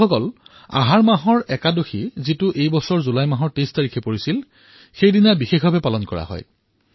বন্ধুসকল আহাৰৰ একাদশী যি এইবাৰ ২৩ জুলাইত আছিল সেইদিনা পণ্টৰপুৰৰ ৱাৰী পালন কৰা হয়